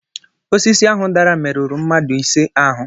Osisi ahụ dara merụrụ mmadụ ise ahụ